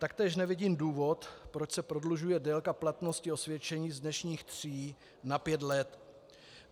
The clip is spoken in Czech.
Taktéž nevidím důvod, proč se prodlužuje délka platnosti osvědčení z dnešních tří na pět let.